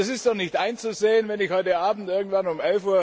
Es ist doch nicht einzusehen, wenn ich heute Abend irgendwann um